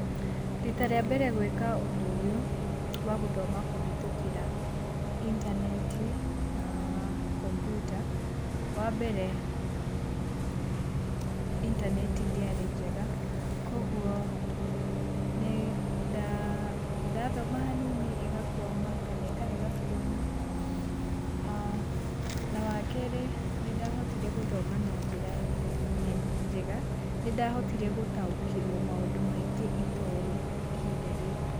Rita rĩa mbere gwĩka ũndũ ũyũ wa gũthoma kũhetũkĩta intaneti na komputa wa mbere intaneti ndĩarĩ njega, kwoguo nĩ nda thoma hanini ĩgakwama kana ĩkarega kwona ah na wa kerĩ nĩ ndahotire gũthoma na njĩra njega nĩ ndahotire gũtaũkĩrwo maũndũ maingĩ itoĩ ihinda rĩu.